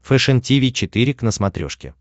фэшен тиви четыре к на смотрешке